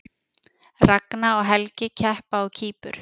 Ragna og Helgi keppa á Kýpur